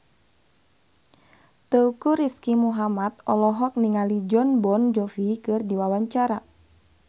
Teuku Rizky Muhammad olohok ningali Jon Bon Jovi keur diwawancara